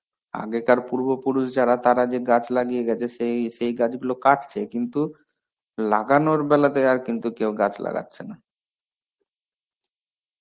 আগেকার পূর্ব পুরুষ যারা তারা যে গাছ লাগিয়ে গেছে সেই সেই গাছগুলো কাটছে কিন্তু লাগানোর বেলাতে আর কিন্তু কেউ গাছ লাগছে না.